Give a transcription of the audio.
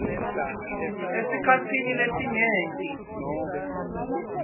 esikhatsini lesinyenti